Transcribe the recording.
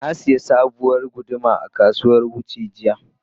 Na sayi sabuwar guduma a kasuwar Wuse jiya.